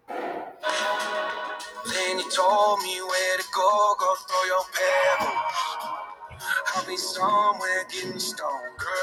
song playing